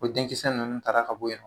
Ko denkisɛ ninnu taara ka bɔ yen